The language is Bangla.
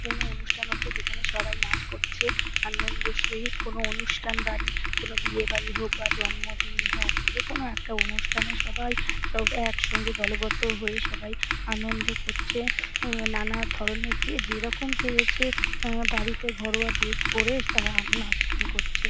কোনো অনুষ্ঠান হচ্ছে যেখানে সবাই নাচ করছে আনন্দ সহিত কোনো অনুষ্ঠান বাড়ি কোনো বিয়ে বাড়ি হোক বা জন্মদিন হোক যেকোনো একটা অনুষ্ঠান সবাই একসঙ্গে দলবদ্ধ হয়ে সবাই আনন্দ করছে নানাধরনের যে যেরকম পেরেছে বাড়িতে ঘরোয়া ড্রেস পরে তারা নাচ গান করছে।